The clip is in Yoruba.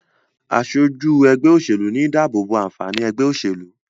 aṣojú ègbé òṣèlú ní dàbobo ànfàní ègbé òṣèlú.